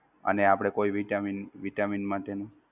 અને આપણે કોઈ Vitamin Vitamin માટેનું?